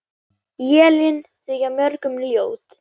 Élin þykja mörgum ljót.